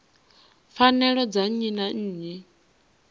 pfanelo dza nnyi na nnyi